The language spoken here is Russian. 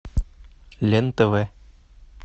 лен тв